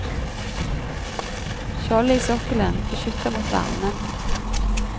Skjoldet i sokkelen beskytter mot varmen.